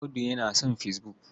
Audu yana son fesbuk.